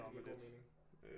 Det giver god mening